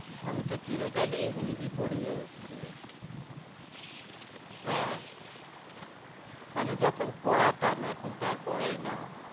আমি তো চিরকালই ইংরেজি পরিয়ে এসছি রে হ্যাঁ মানে যখন পড়াতাম এখন তো আর পড়াই না।